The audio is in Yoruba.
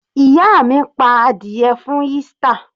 Ìyá mi pa adìẹ fún Easter.